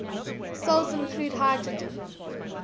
cells include hydrogen